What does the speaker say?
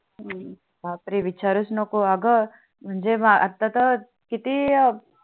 बापरे विचारूनच नको अग म्हणजे आता तर किती